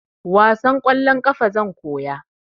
Wasan kwallon ƙafa zan koya